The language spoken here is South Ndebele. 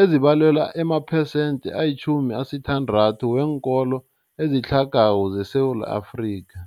ezibalelwa emaphesenthe ayi-60 weenkolo ezitlhagako zeSewula Afrika.